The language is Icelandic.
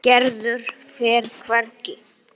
Gerður fer hvergi.